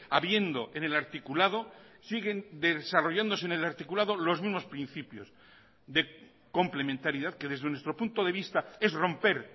habiendo en el articulado siguen desarrollándose en el articulado los mismos principios de complementariedad que desde nuestro punto de vista es romper